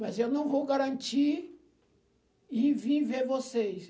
Mas eu não vou garantir e vir ver vocês.